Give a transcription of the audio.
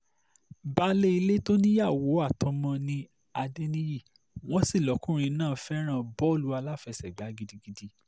baálé ilé tó níyàwó àtọmọ ni adẹniyí wọ́n sì lọkùnrin náà fẹ́ràn bọ́ọ̀lù aláfẹsẹ̀gbá gidigidi